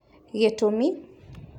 Gĩtũmi